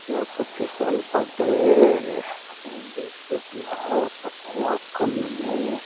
यख फिसल पट्टी तखम एक टोपला पछा एक कॉलोनी ।